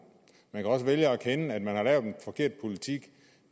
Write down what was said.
man kan også vælge at erkende at man har lavet en forkert politik